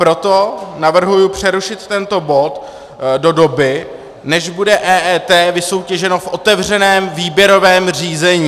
Proto navrhuji přerušit tento bod do doby, než bude EET vysoutěženo v otevřeném výběrovém řízení.